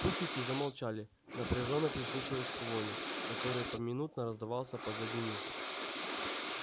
путники замолчали напряжённо прислушиваясь к вою который поминутно раздавался позади них